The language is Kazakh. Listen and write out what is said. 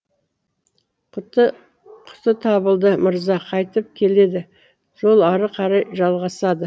құты табылды мырза қайтып келеді жол ары қарай жалғасады